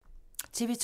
TV 2